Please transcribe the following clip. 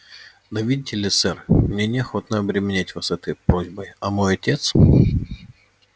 да видите ли сэр мне не охотно обременять вас этой просьбой а мой отец